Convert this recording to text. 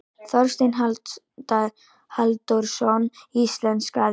Þorsteinn Halldórsson íslenskaði.